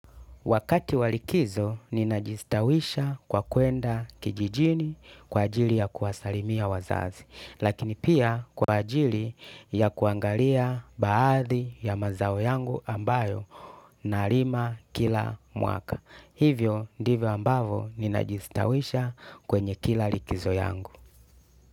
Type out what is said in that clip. Wakati wa likizo, ninajistawisha kwa kuenda kijijini kwa ajili ya kuwasalimia wazazi, lakini pia kwa ajili ya kuangalia baadhi ya mazao yangu ambayo nalima kila mwaka. Hivyo, ndivyo ambavyo, ninajistawisha kwenye kila likizo yangu.